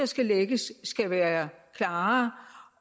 skal lægges skal være klarere